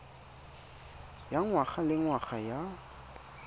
ya ngwaga le ngwaga ya